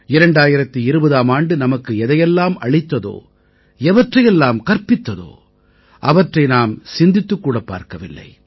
2020ஆம் ஆண்டு நமக்கு எதையெல்லாம் அளித்ததோ எவற்றையெல்லாம் கற்பித்ததோ அவற்றை நாம் சிந்தித்துக் கூடப் பார்க்கவில்லை